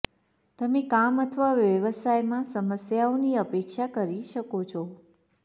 તમે કામ અથવા વ્યવસાયમાં સમસ્યાઓની અપેક્ષા કરી શકો છો